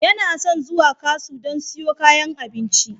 Yana son zuwa kasu don siyo kayan abinci.